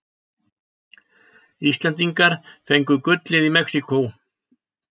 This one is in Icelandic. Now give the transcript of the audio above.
Íslendingar fengu gullið í Mexíkó